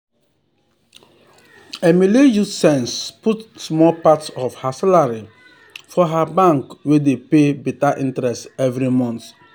emily use sense put um small part of her salary for her bank wey dey pay better interest every month.